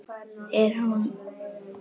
En hún gekk samt ekki heil til skógar.